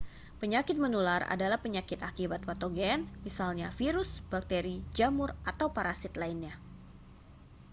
penyakit menular adalah penyakit akibat patogen misalnya virus bakteri jamur atau parasit lainnya